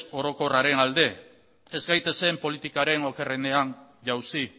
orokorraren alde ez gaitezen politikaren okerrenean jauzi